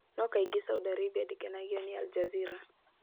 No kaingĩ Saudi Arabia ndĩkenagio nĩ Al Jazeera.